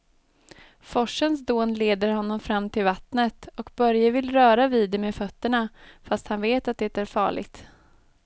Forsens dån leder honom fram till vattnet och Börje vill röra vid det med fötterna, fast han vet att det är farligt.